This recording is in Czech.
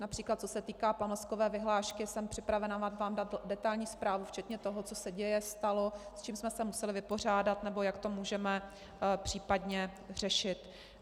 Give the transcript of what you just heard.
Například co se týká pamlskové vyhlášky, jsem připravena vám dát detailní zprávu včetně toho, co se děje, stalo, s čím jsme se museli vypořádat, nebo jak to můžeme případně řešit.